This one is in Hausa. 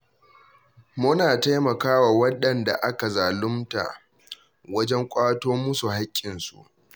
Muna taimaka wa waɗanda aka zalumta wajen ƙwato musu haƙƙinsu.